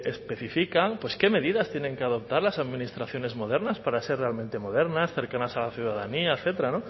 especifican qué medidas tienen que adoptar las administraciones modernas para ser realmente modernas cercanas a la ciudadanía etcétera